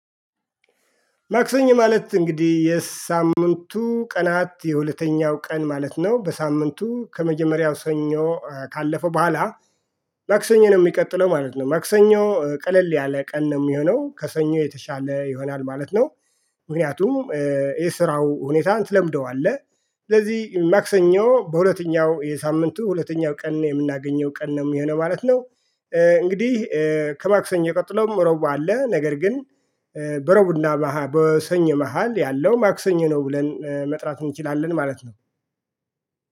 ማክሰኞ ማለት እንግዲህ የሳምንቱ ቀናት የሁለተኛው ቀን ማለት ነው በሳምንቱ ከመጀመሪያው ሰኞ ካለፈ በኋላ። ማክሰኞ ነው የሚቀጥለው ማለት ነው ማክሰኞ ቀለል ያለ ቀን ነው የሚሆነው ከሰኞ የተሻለ ይሆናል ማለት ነው። ምክንያቱም የስራው ሁኔታ ትለምደዋለህ። ስለዚህ ማክሰኞ በሁለተኛው የሳምንቱ ሁለተኛው ቀን የምናገኘው ቀን ነው የሚሆነው ማለት ነው። እንግዲህ ከማክሰኞ ቀጥሎም ረቡዕ አለ ነገር ግን በረቡዕ እና በሰኞ መሃል ያለው ማክሰኞ ነው። ብለን መጥራት እንችላለን ማለት ነው